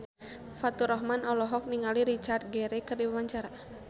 Faturrahman olohok ningali Richard Gere keur diwawancara